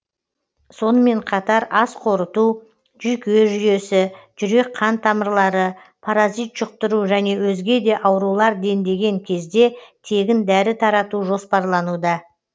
сонымен қатар ас қорыту жүйке жүйесі жүрек қан тамырлары паразит жұқтыру және өзге де аурулар дендеген кезде тегін дәрі тарату жоспарлануда